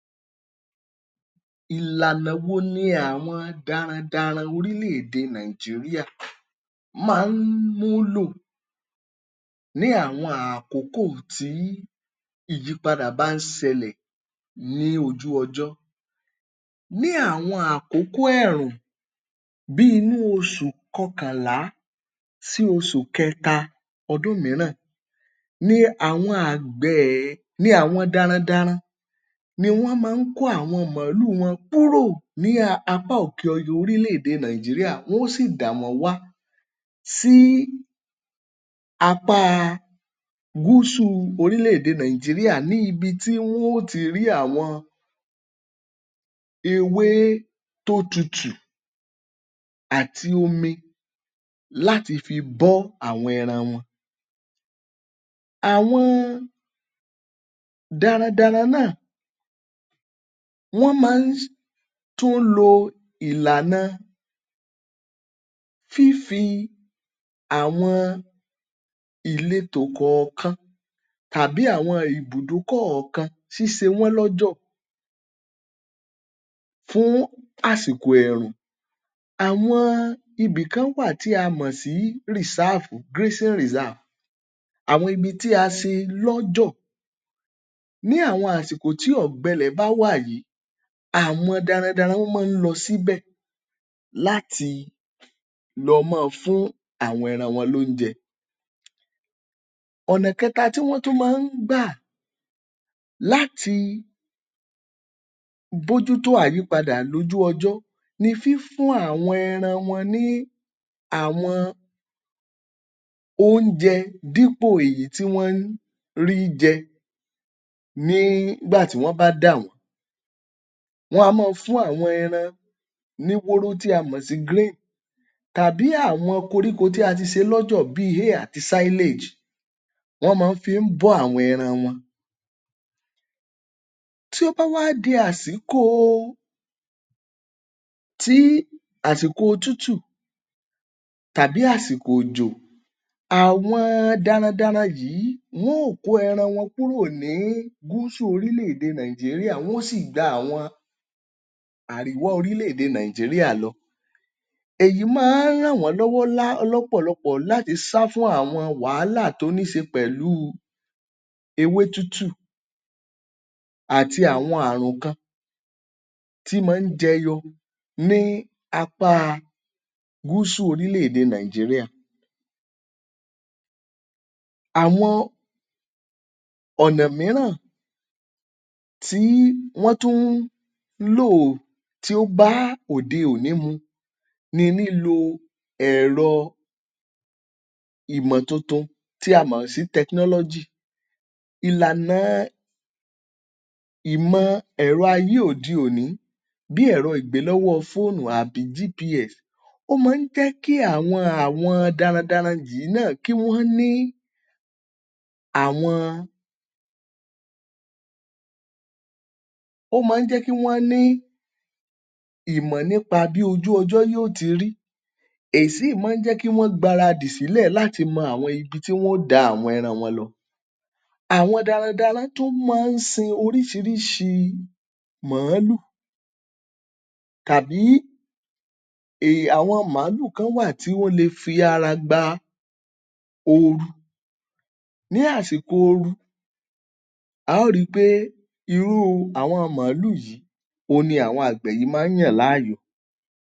Ìlànà wo ni àwọn darandaran orílẹ̀ èdè Nàìjíríà máa n múlò ní àwọn àkókò tí ìyípadà bá ń ṣẹlẹ̀ ní ojú ọjọ́ ní àwọn àkókò ẹ̀rùn bíi inú oṣù kọkọ̀nlá sí oṣù kẹta ọdún mìíràn ni àwọn àgbẹ̀ ni àwọn darandaran ni wọ́n máa ń kó àwọn mọ̀ọ́lù wọn kúrò ní apá òkè ọya orílẹ̀ èdè Nàìjíríà, wọ́n ó sì dàwọ́n wá sí apáa Gúúsù orílẹ̀ èdè Nàìjíríà ní ibi tí wọ́n ò ti rí àwọn ewé tó tutù àti omi láti fi bọ́ àwọn ẹran wọn. Àwọn darandaran náà wọ́n maá tún ń lo ìlànà fífi àwọn ìletò kọ̀ọ̀kan tàbí àwọn ibùdó kọ̀ọ̀kan ṣíṣewọ́n lọ́jọ̀ fún àsìkò ẹ̀rùn. Àwọn ibìkan wà tí a mọ̀ sí, àwọn ibi tí a ṣe lọ́jọ̀ ní àwọn àsìkò tí ọ̀gbẹ ilẹ̀ bá wà yìí, àwọn darandaran wọ́n máa ń lọ síbẹ̀ láti lọ máa fún àwọn ẹran wọn lóúnjẹ. Ònà kẹta tí wọ́n tún máa ń gbà láti bójútó àyípadà lójú ọjọ́ ni fífún àwọn ẹran wọn ní àwọn oúnjẹ dípò èyí tí wọ́n ń rí i jẹ nígbà tí wọn bá dà wọ́n. Wọ́n á máa fún àwọn ẹran ní wóró tí a mọ̀ sí tàbí àwọn koríko tí a ti ṣe lọ́jọ̀ bí wọ́n maá fi bọ́ àwọn ẹran wọn. Tí ó bá wá di àsìko tí, àsìkò òtútù tàbí àsìkò òjò, àwọn darandaran yìí wón ò kó ẹran wọn kúrò ní Gúsù orílẹ̀ èdè Nàìjíríà, Wọ́n ò sì gba àwọn Àríwá orílè èdè Nàìjíríà lọ. Èyí máa ń ràn wọ́n lọ́wọ́ lá lọ́pọ̀lọpọ̀ láti sá fún àwọn wàhálà tó níṣe pẹ̀lú ewé tútù àti àwọn àrùn kan tí maá jẹyọ ní apáa Gúsù orílẹ̀ èdè Nàìjíríà. Àwọn ọ̀nà mìíràn tí wọ́n tún ń lò tí ó bá òde òní mu ní lílo ẹ̀rọ ìmọ̀ tuntun tí a mọ̀ sí. Ìlàna ìmọ ẹ̀rọ ayé òde òní bíi ẹ̀rọ ìgbélọ́wọ́ fóònù àbí Ó máa ń jẹ́ kí àwọn àwọn darandaran yìí náà kí wọ́n ní àwọn ó máa ń jẹ́ kí wọ́n ní ìmọ̀ nípa bí ojú ọjọ́ yóò ti rí. Èyí sì má ń jẹ́ kí wọn gbaradì sílẹ̀ láti mọ àwọn ibi tí wọ́n óò da àwọn ẹran wọn lọ. Àwọn darandaran tún máa ń sin oríṣiríṣi mọ̀ọ́lù tàbí um àwọn màálù kan wà tí wọ́n lè fi ara gba oru. Ní àsìkò oru, a ó ri í pé irú àwọn màálù yìí òun ni àwọn àgbẹ̀ yìí máa ń yàn láàyò.